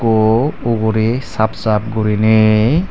oh ugurey saap sap guriney.